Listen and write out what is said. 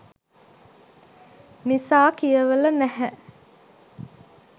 නිසා කියවල නැහැ